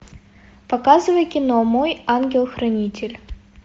показывай кино мой ангел хранитель